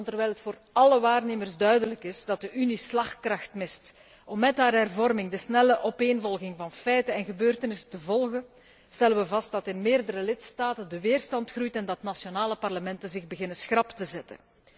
Want terwijl het voor alle waarnemers duidelijk is dat de Unie slagkracht mist om met haar hervorming de snelle opeenvolging van feiten en gebeurtenissen te volgen, stellen we vast dat in verscheidene lidstaten de weerstand groeit en dat nationale parlementen zich beginnen schrap te zetten.